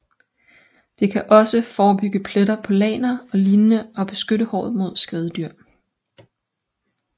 Det kan også forebygge pletter på lagner og lignende og beskytte håret mod skadedyr